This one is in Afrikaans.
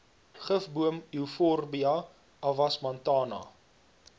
gifboom euphorbia avasmantana